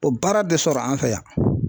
O baara bɛ sɔrɔ an fɛ yan